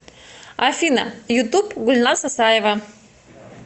афина ютуб гульназ асаева